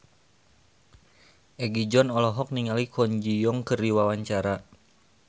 Egi John olohok ningali Kwon Ji Yong keur diwawancara